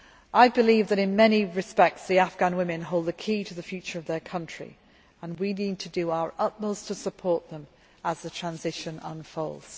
I believe that, in many respects, Afghan women hold the key to the future of their country and we need to do our utmost to support them as the transition unfolds.